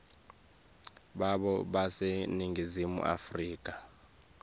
babo baseningizimu afrika